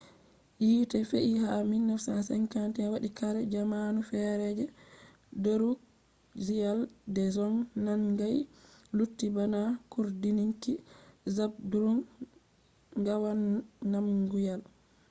yite fe'i ha 1951 wadi kare jamanu fere je drukgyal dzong nangai lutti bana cuurdinki zhabdrung ngawang namgyal